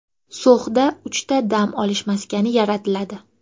So‘xda uchta dam olish maskani yaratiladi.